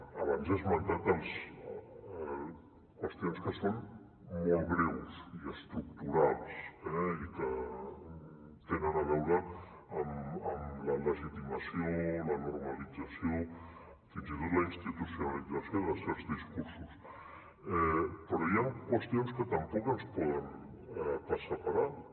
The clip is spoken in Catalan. abans he esmentat qüestions que són molt greus i estructurals i que tenen a veure amb la legitimació la normalització fins i tot la institucionalització de certs discursos però hi ha qüestions que tampoc ens poden passar per alt